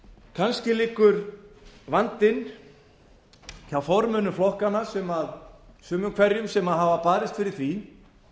kannski liggur vandinn hjá formönnum flokkanna sumum hverjum sem hafa barist fyrir því